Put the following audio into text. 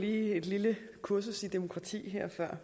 et lille kursus i demokrati